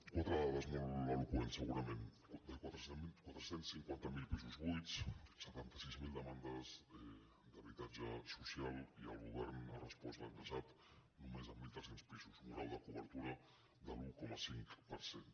quatre dades molt eloqüents segurament de quatre cents i cinquanta miler pisos buits setanta sis mil demandes d’habitatge social i el govern ha respost l’any passat només amb mil tres cents pisos un grau de cobertura de l’un coma cinc per cent